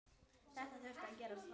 Þetta þurfti að gerast hratt.